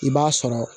I b'a sɔrɔ